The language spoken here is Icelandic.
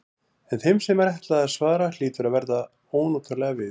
En þeim sem ætlað er að svara hlýtur að verða ónotalega við.